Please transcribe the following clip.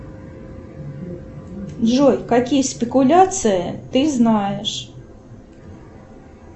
джой какие спекуляции ты знаешь